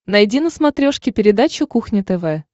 найди на смотрешке передачу кухня тв